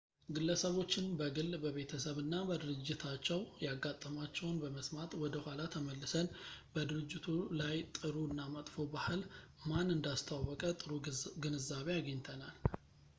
ግለሰቦችን በግል በቤተሰብ እና በድርጅታቸው ያጋጠማቸውን በመስማት ወደ ኋላ ተመልሰን በድርጅቱ ላይ ጥሩ እና መጥፎ ባህል ማን እንዳስተዋወቀ ጥሩ ግንዛቤ አግኝተናል